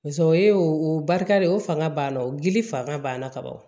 o ye o barika de ye o fanga banna o gili fanga banna ka ban